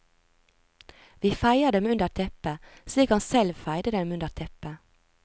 Vi feier dem under teppet, slik han selv feide dem under teppet.